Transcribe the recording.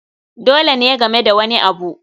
Dole ne game da wani abu